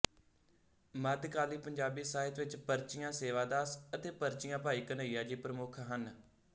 ਮੱਧਕਾਲੀ ਪੰਜਾਬੀ ਸਾਹਿਤ ਵਿੱਚ ਪਰਚੀਆਂ ਸੇਵਾ ਦਾਸ ਅਤੇ ਪਰਚੀਆਂ ਭਾਈ ਕਨੱਈਆ ਜੀ ਪ੍ਰਮੱਖ ਹਨ